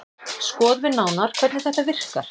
Skoðum nánar hvernig þetta virkar.